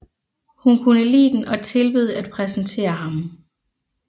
Hun kunne lide den og tilbød at præsentere ham